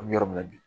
An bɛ yɔrɔ min na bi